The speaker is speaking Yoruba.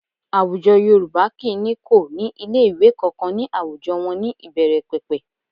Àwùjọ Yorùbá kì í ní kò ní ilé ìwé kankan ní àwùjọ wọn ní ìbẹ̀rẹ̀pẹ̀pẹ̀